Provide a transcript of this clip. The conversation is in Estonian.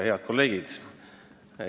Head kolleegid!